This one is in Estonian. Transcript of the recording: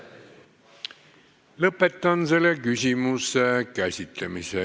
Lõpetan selle küsimuse käsitlemise.